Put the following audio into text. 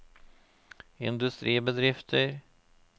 industribedrifter